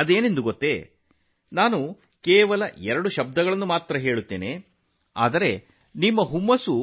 ಅದು ಏನು ಗೊತ್ತಾ ನಾನು ಕೇವಲ ಎರಡು ಪದಗಳನ್ನು ಹೇಳುತ್ತೇನೆ ಮತ್ತು ನಿಮ್ಮ ಉತ್ಸಾಹವು